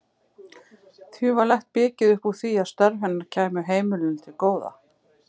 Því var lagt mikið upp úr því að störf hennar kæmu heimilinu til góða.